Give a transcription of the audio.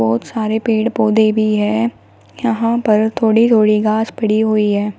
बहोत सारे पेड़ पौधे भी है यहां पर थोड़ी थोड़ी घास पड़ी हुई है।